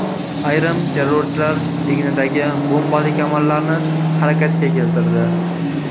Ayrim terrorchilar egnidagi bombali kamarlarni harakatga keltirdi.